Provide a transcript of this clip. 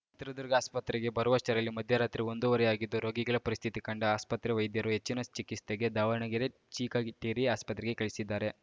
ಚಿತ್ರದುರ್ಗ ಆಸ್ಪತ್ರಗೆ ಬರುವಷ್ಟರಲ್ಲಿ ಮಧ್ಯರಾತ್ರಿ ಒಂದುವರೆ ಆಗಿದ್ದು ರೋಗಿಗಳ ಪರಿಸ್ಥಿತಿ ಕಂಡ ಆಸ್ಪತ್ರೆ ವೈದ್ಯರು ಹೆಚ್ಚಿನ ಚಿಕಿಸ್ತೆಗೆ ದಾವಣಗೆರೆ ಚಿಕಟೇರಿ ಆಸ್ಪತ್ರೆಗೆ ಕಳಿಸಿದ್ದಾರೆ